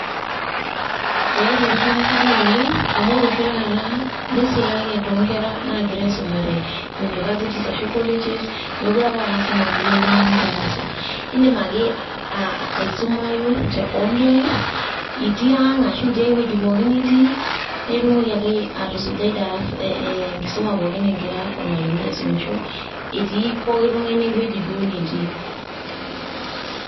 Eaita erishata sapuk oleng' amu ore oshi taata, neisulaki to nkera nagira aisumare universities arashu colleges ,mekure apa a lasima pe ilo oltung'ani darasa. Idim ake aisumayu te online itii ang' ashu itii ewueji pookin nitii, na itumoki ake atusujai darasa enkisuma pookin egira ormalimui aisumisho itii poki tung'ani ewueji duo netii.